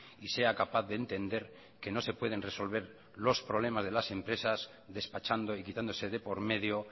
y sea capaz de entender que no se pueden resolver los problemas de las empresas despachando y quitándose de por medio